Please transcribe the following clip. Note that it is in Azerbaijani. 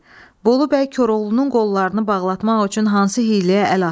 Bolu bəy Koroğlunun qollarını bağlatmaq üçün hansı hiyləyə əl atdı?